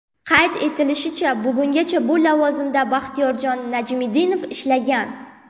Qayd etilishicha, bugungacha bu lavozimda Baxtiyorjon Najmiddinov ishlagan.